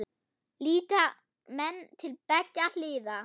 Líta menn til beggja hliða?